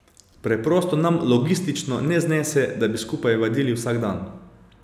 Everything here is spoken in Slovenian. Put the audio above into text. Preprosto nam logistično ne znese, da bi skupaj vadili vsak dan.